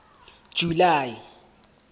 july